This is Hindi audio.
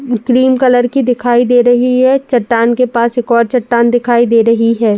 क्रीम कलर की दिखाई दे रही है। चट्टान के पास एक और चट्टान दिखाई दे रही है।